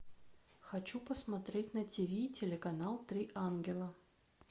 хочу посмотреть на ти ви телеканал три ангела